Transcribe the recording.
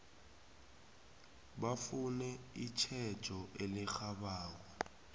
bafune itjhejo elirhabako